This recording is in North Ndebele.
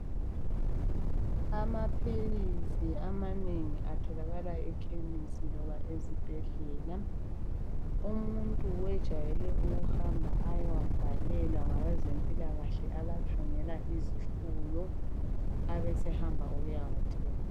Amaphilisi amaningi atholakala ekhemisi loba ezibhedlela umuthi wejwayele ukuwabhalelwa ngabezempila kahle abakhangela izifuyo ebesehamba ukuyawathenga.